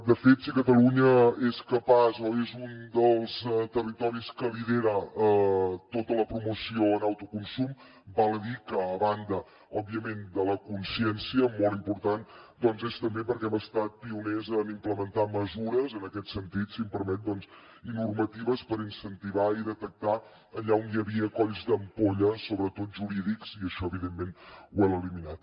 de fet si catalunya és capaç o és un dels territoris que lidera tota la promoció en autoconsum val a dir que a banda òbviament de la consciència molt important doncs és també perquè hem estat pioners en implementar mesures en aquest sentit si m’ho permet i normatives per incentivar i detectar allà on hi havia colls d’ampolla sobretot jurídics i això evidentment ho hem eliminat